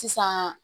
Sisan